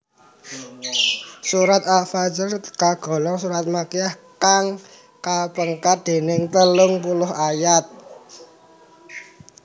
Surat Al Fajr kagolong surat Makkiyah kang kapengkar déning telung puluh ayat